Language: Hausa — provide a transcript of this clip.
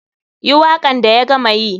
Yi wakan da ya gama yi.